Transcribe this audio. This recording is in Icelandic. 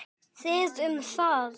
Þið um það!